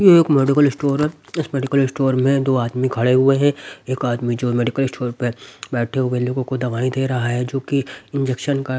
ये एक medical store है इस मेडिकल स्टोर में दो आदमी खड़े हुए हैं एक आदमी जो मेडिकल स्टोर पे बैठे हुए लोगों को दवाई दे रहा है जोकी इंजेक्शन का --